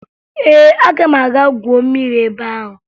Ee, aga m aga gwuo mmiri ebe ahụ